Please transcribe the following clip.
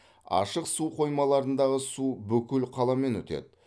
ашық су қоймаларындағы су бүкіл қаламен өтеді